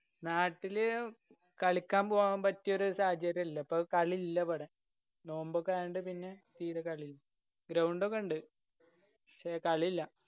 നാട്ടില് കളിക്കാൻ പോവാൻ പറ്റിയൊരു സാഹചര്യയില്ല ഇപ്പോ കാളി ഇല്ല പറയ നോമ്പൊക്കെ ആയോണ്ട് പിന്നെ തീര കളിയില്ല. ground ഒക്കെ ഇണ്ട് പക്ഷെ കളിയില്ല